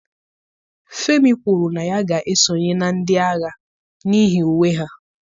Femi kwuru na ya ga-esonye na ndị agha n'ihi uwe ha